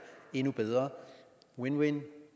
endnu bedre win win